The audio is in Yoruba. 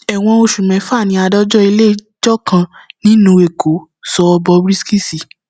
ẹwọn oṣù mẹfà ni adájọ iléẹjọ kan nílùú èkó sọ bob risky sí